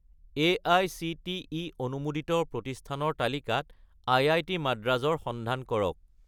AICTE অনুমোদিত প্ৰতিষ্ঠানৰ তালিকাত আই.আই.টি. মাদ্ৰাজ ৰ সন্ধান কৰক